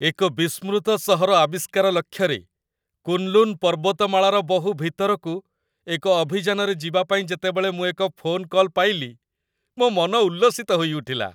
ଏକ ବିସ୍ମୃତ ସହର ଆବିଷ୍କାର ଲକ୍ଷ୍ୟରେ, କୁନ୍‌ଲୁନ୍‌ ପର୍ବତମାଳାର ବହୁ ଭିତରକୁ ଏକ ଅଭିଯାନରେ ଯିବା ପାଇଁ ଯେତେବେଳେ ମୁଁ ଏକ ଫୋନ କଲ୍ ପାଇଲି, ମୋ ମନ ଉଲ୍ଲସିତ ହୋଇଉଠିଲା।